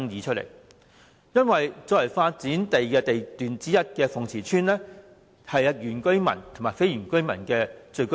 作為發展地段之一的鳳池村，是原居民及非原居民的聚居地。